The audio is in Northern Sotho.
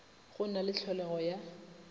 go na le tlholego ya